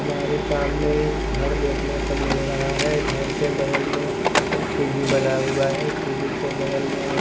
हमारे सामने एक घर देखने को मिल रहा है घर के बगल में एक सीढ़ी बना हुआ है सीढ़ी के बगल में--